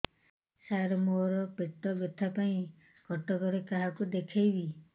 ସାର ମୋ ର ପେଟ ବ୍ୟଥା ପାଇଁ କଟକରେ କାହାକୁ ଦେଖେଇବି